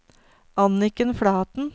Anniken Flaten